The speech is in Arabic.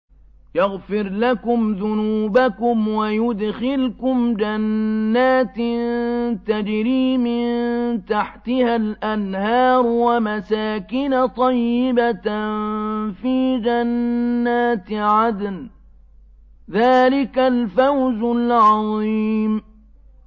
يَغْفِرْ لَكُمْ ذُنُوبَكُمْ وَيُدْخِلْكُمْ جَنَّاتٍ تَجْرِي مِن تَحْتِهَا الْأَنْهَارُ وَمَسَاكِنَ طَيِّبَةً فِي جَنَّاتِ عَدْنٍ ۚ ذَٰلِكَ الْفَوْزُ الْعَظِيمُ